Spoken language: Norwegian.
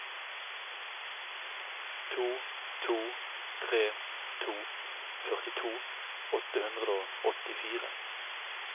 to to tre to førtito åtte hundre og åttifire